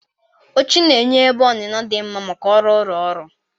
Oche na-enye ebe onuno di mma maka ọrụ ụlọ ọrụ.